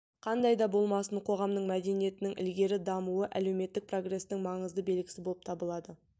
қандайда болмасын қоғамның мәдениетінің ілгері дамуы әлеуметтік прогрестің маңызды белгісі болып табылады